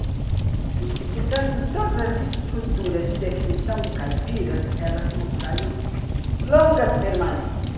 E, portanto, todas as estruturas de definição do Caipira mostrariam longas permanências.